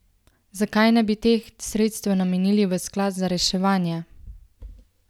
Zakaj ne bi del teh sredstev namenili v sklad za reševanje?